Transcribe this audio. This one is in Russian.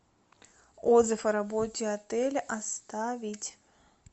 отзыв о работе отеля оставить